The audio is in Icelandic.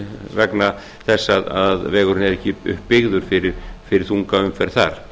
vegna þess að vegurinn er ekki uppbyggður fyrir þunga umferð þar